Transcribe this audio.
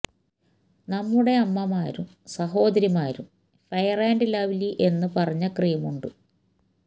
നമ്മുടെ അമ്മമാരും സഹോദരിമാരും ഫെയര് ആന്റ് ലവ്ലി എന്നു പറഞ്ഞ ക്രീമുണ്ട്